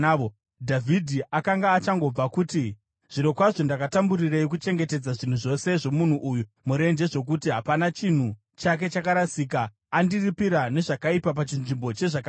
Dhavhidhi akanga achangobva kuti, “Zvirokwazvo ndakatamburirei kuchengetedza zvinhu zvose zvomunhu uyu murenje zvokuti hapana chinhu chake chakarasika. Andiripira nezvakaipa pachinzvimbo chezvakanaka.